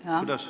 Aitäh!